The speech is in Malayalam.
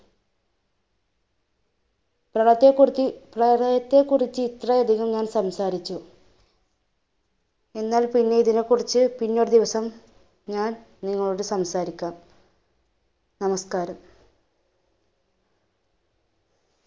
പ്രളയത്തെകുറിച്ച്~ പ്രളയത്തെ കുറിച്ച് ഇത്ര അധികം ഞാൻ സംസാരിച്ചു, എന്നാൽപ്പിന്നെ ഇതിനെക്കുറിച്ചു പിന്നെ ഒരുദിവസം ഞാൻ നിങ്ങളോട് സംസാരിക്കാം. നമസ്കാരം.